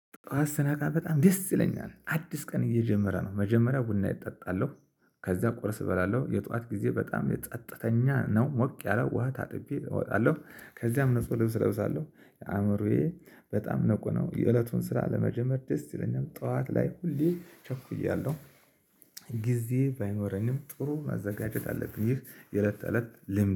ጠዋት ስናቃ በጣም ደስ ይለኛል አዲስ ቀን እየጀመረ ነው መጀመሪያ ቡና እጠጣለሁ። ከዛ ቆረስ እበላለሁ የጠዋት ጊዜ በጣም የጸጥተኛ ነው ሞቅ ያለው ውሃ ታጥቤ እወጣለሁ። ከዚያም ንጹህ ልብስ እለብሳለሁ የአእምሮዬ በጣም ንቁ ነው። የእለቱን ስራ ለመጀመር ደስ ይለኛል ጠዋት ላይ ሁሌ ቸኩያለሁ። ጊዜ ባይኖረንም ጥሩ ማዘጋጀት አለብን ይህ የእለት እለት ልምድ